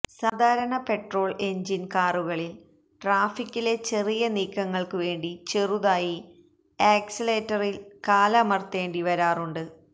സാധാരണ petrol engine കാറുകളില് ട്രാഫിക്കിലെ ചെറിയ നീക്കങ്ങള്ക്കുവേണ്ടി ചെറുതായി ആക്സിലറേറ്ററില് കാലമര്ത്തേണ്ടി വരാറുണ്ട്